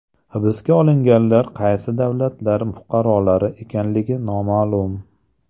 Hibsga olinganlar qaysi davlatlar fuqarolari ekanligi noma’lum.